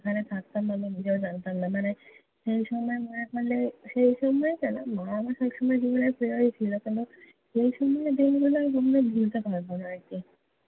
ওখানে থাকতাম কি-না আমি নিজেও জানতাম না। মানে সেই সময় মনে পড়লে, সেই সময় কেন, মা আমার সবসময়ই জীবনে ছিল। কিন্তু সেই সময়ের দিনগুলো আমি কখনও ভুলতে পারবো না আরকি।